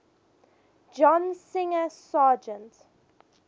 john singer sargent